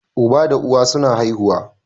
Uba da uwa suna haihuwa